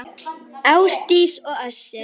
Ásdís og Össur.